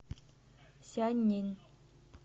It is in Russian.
сяньнин